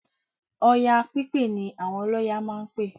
Ọya pípè ni àwọn ọlọ́ya máa ń pè